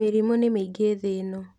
Mĩrimũ nĩmĩingĩthĩno.